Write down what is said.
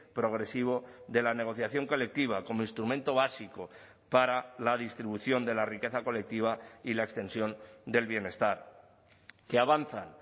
progresivo de la negociación colectiva como instrumento básico para la distribución de la riqueza colectiva y la extensión del bienestar que avanzan